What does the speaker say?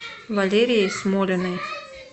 валерией смолиной